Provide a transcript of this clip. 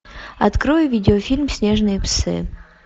открой видеофильм снежные псы